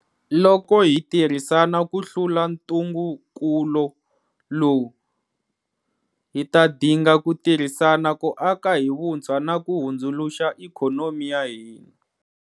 Loko hi tirhisana ku hlula ntungukulo lowu, hi ta dinga ku tirhisana ku aka hi vuntshwa na ku hundzuluxa ikhonomi ya hina.